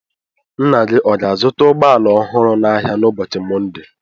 Nna gị ọ ga-azụta ụgbọ ala ọhụrụ n'ahịa n'ụboochi Mọnde?